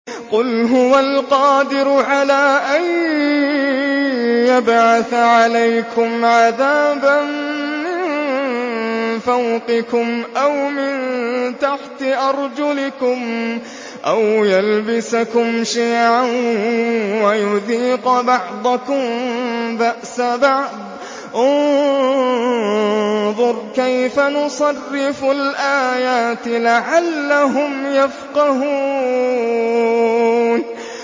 قُلْ هُوَ الْقَادِرُ عَلَىٰ أَن يَبْعَثَ عَلَيْكُمْ عَذَابًا مِّن فَوْقِكُمْ أَوْ مِن تَحْتِ أَرْجُلِكُمْ أَوْ يَلْبِسَكُمْ شِيَعًا وَيُذِيقَ بَعْضَكُم بَأْسَ بَعْضٍ ۗ انظُرْ كَيْفَ نُصَرِّفُ الْآيَاتِ لَعَلَّهُمْ يَفْقَهُونَ